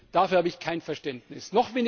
Dafür habe ich kein Verständnis!